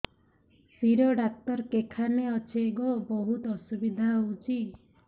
ଶିର doctor କେଖାନେ ଅଛେ ଗୋ ବହୁତ୍ ଅସୁବିଧା ହଉଚି